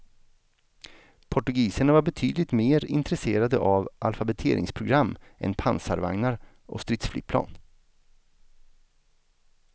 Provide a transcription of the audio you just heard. Portugiserna var betydligt mer intresserade av alfabetiseringsprogram än pansarvagnar och stridsflygplan.